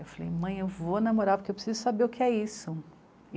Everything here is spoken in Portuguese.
Eu falei mãe, eu vou namorar porque eu preciso saber o que é isso.